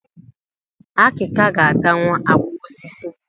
Akika ga-atanwu àkwà osisi